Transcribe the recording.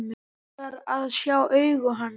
Langar að sjá augu hans.